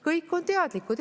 Kõik on teadlikud.